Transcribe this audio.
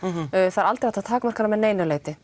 það er aldrei hægt að takmarka hana að neinu leyti